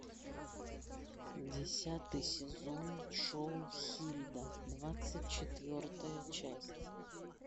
десятый сезон шоу хильда двадцать четвертая часть